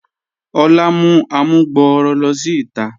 Olà mú àmùgbọ̀rọ̀ ló sí ìtà.